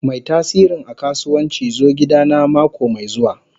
Mai tasirin a kasuwanci zo gidana mako mai zuwa.